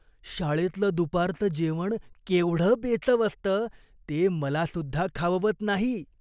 शाळेतलं दुपारचं जेवण केवढं बेचव असतं, ते मलासुद्धा खाववत नाही.